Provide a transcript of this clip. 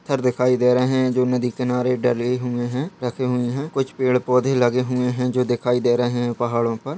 पत्थर दिखाई दे रहे हैं जो नदी किनारे डले हुए हैं रखे हुए हैं कुछ पेड़-पौधे लगे हुए हैं जो दिखाई दे रहे हैं पहाड़ो पर।